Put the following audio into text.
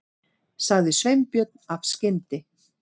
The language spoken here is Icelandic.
sagði Sveinbjörn af skyndi